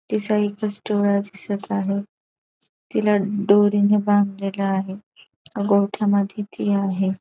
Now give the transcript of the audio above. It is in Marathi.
तिथ एक दिसत आहे. तिला डोरी ने बांधलेल आहे. गोठ्या मध्ये ती आहे.